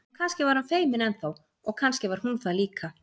En kannski var hann feiminn enn þá og kannski var hún það líka.